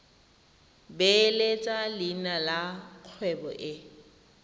beeletsa leina la kgwebo e